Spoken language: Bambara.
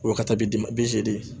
O wagati dimi